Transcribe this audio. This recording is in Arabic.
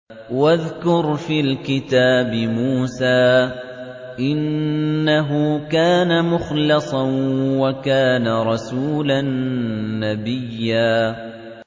وَاذْكُرْ فِي الْكِتَابِ مُوسَىٰ ۚ إِنَّهُ كَانَ مُخْلَصًا وَكَانَ رَسُولًا نَّبِيًّا